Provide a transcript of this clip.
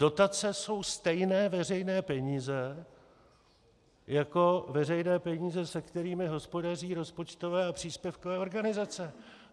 Dotace jsou stejné veřejné peníze jako veřejné peníze, se kterými hospodaří rozpočtové a příspěvkové organizace.